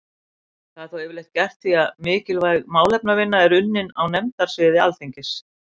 Það er þó yfirleitt gert því að mikilvæg málefnavinna er unninn á nefndasviði Alþingis.